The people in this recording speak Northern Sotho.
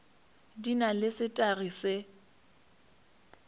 di na le setagi se